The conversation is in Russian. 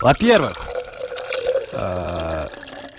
во-первых